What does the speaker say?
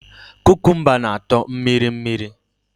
Kukumba na atọ mmiri mmiri